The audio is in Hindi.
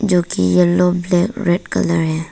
जो की येलो ब्लैक रेड कलर है।